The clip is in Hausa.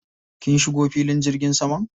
Kin shigo filin jirgin saman?